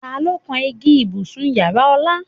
Ta ló kan igi ibùsùn ìyára Ọlá?